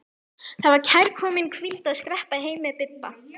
Það var kærkomin hvíld að skreppa heim með Bibba.